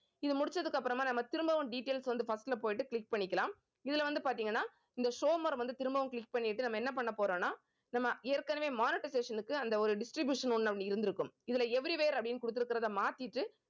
இது முடிச்சதுக்கு அப்புறமா நம்ம திரும்பவும் details வந்து first ல போயிட்டு click பண்ணிக்கலாம். இதுல வந்து பாத்தீங்கன்னா இந்த வந்து திரும்பவும் click பண்ணிட்டு நம்ம என்ன பண்ண போறோம்ன்னா நம்ம ஏற்கனவே monetization க்கு அந்த ஒரு distribution ஒண்ணு அப்படி இருக்கும். இதுல every where அப்படின்னு கொடுத்திருக்கிறதை மாத்திட்டு